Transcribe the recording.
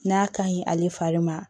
N'a ka ɲi ale fari ma